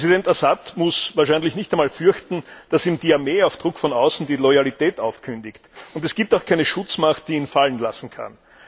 Präsident Assad muss wahrscheinlich nicht einmal fürchten, dass ihm die Armee auf Druck von außen die Loyalität aufkündigt. Und es gibt auch keine Schutzmacht, die ihn fallen lassen kann.